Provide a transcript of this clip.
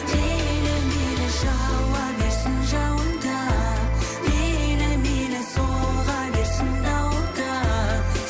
мейлі мейлі жауа берсін жауын да мейлі мейлі соға берсін дауыл да